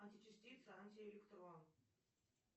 античастица антиэлектрон